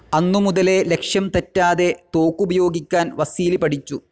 അന്നുമുതലേ ലക്ഷ്യംതെറ്റാതെ തോക്കുപയോഗിക്കാൻ വസീലി പഠിച്ചു.